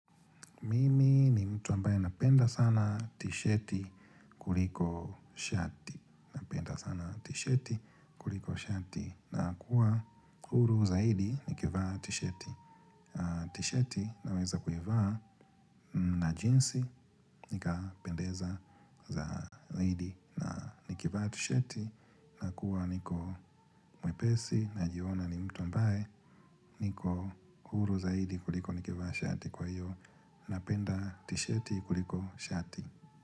Mimi ni mtu ambaye napenda sana tisheti kuliko shati nakuwa huru zaidi nikivaa tisheti tishati naweza kuivaa na jinsi nikapendeza zaidi na nikivaa tishati nakuwa niko mwepesi najiona ni mtu ambaye niko huru zaidi kuliko nikivaa shati kwa hiyo napenda tisheti kuliko shati.